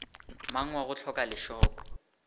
mang wa go hloka lešoko